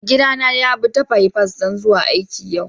Maigida na ya bi'ta bipas dan kai aiki yau.